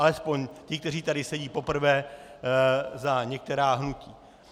Alespoň ti, kteří tady sedí poprvé za některá hnutí.